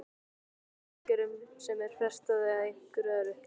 Er það í aðgerðum sem er frestað eða einhverju öðru?